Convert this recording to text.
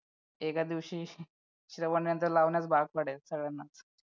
एका दिवशी श्रवण यंत्र लावण्यास भाग पाडेल सगळ्यांना